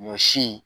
Ɲɔ si